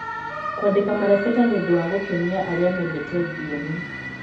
Kũandĩka marebeta nĩ ũndũ wa gũkenia arĩa mendete thiomi.